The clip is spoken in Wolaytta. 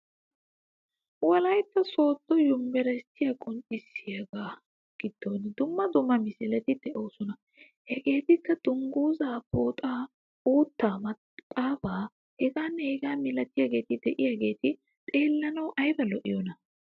Wolaytta sooddo yumburshshiya qonccisiyaaga giddon dumma dumma misileti de'oosona. Hegeetikka dunguzaa pooxaa, uuttaa, maxaafaa, hegaanne hegaa milatiyageeti diyageti xeellanawu ayiba lo'iyoonaa!